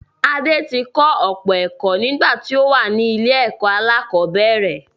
Adé ti kọ́ ọ̀pọ̀ ẹ̀kọ́ nígbà tí ó wà ní ilé-ẹ̀kọ́ aláàkọ́bẹ̀rẹ̀